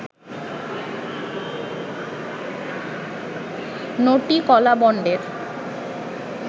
নটি কলাবণ্ডের